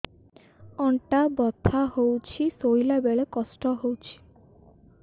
ଅଣ୍ଟା ବଥା ହଉଛି ଶୋଇଲା ବେଳେ କଷ୍ଟ ହଉଛି